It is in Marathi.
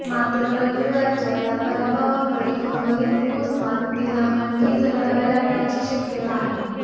मात्र रविवारच्या या पराभवामुळे उर्वरित मोसमात तिला आणखी झगडावे लागण्याची शक्मयता आहे